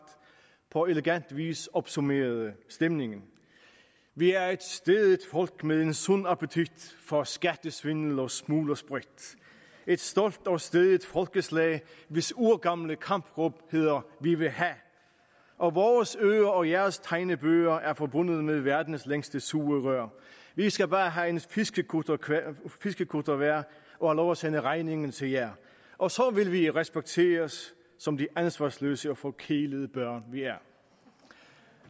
på elegant vis opsummerede stemningen vi er et stædigt folk med en sund appetit for skattesvindel og smuglersprit et stolt og stædigt folkeslag hvis urgamle kampråb hedder vi vil ha og vores øer og jeres tegnebøger er forbundet med verdens længste sugerør vi skal bare ha en fiskekutter fiskekutter hver og ha lov at sende regningen til jer og så vil vi respekteres som de ansvarsløse og forkælede børn vi er